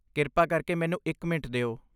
ਕਿਰਪਾ ਕਰਕੇ ਮੈਨੂੰ ਇੱਕ ਮਿੰਟ ਦਿਓ।